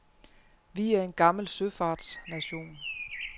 Vi er en gammel søfartsnation.